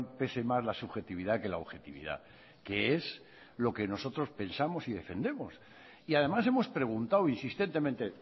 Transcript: pese más la subjetividad que la objetividad que es lo que nosotros pensamos y defendemos y además hemos preguntado insistentemente